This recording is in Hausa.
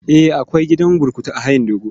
Eh, akwai gidan burkutu a hayin dogo.